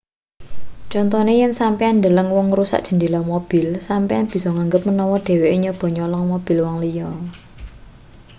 contone yen sampeyan ndeleng wong ngrusak jendhela mobil sampeyan bisa nganggep manawa dheweke nyoba nyolong mobil wong liya